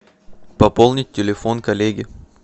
пополнить телефон коллеги